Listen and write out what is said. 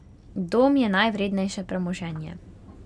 Dom je najvrednejše premoženje.